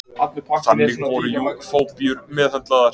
Þannig voru jú fóbíur meðhöndlaðar.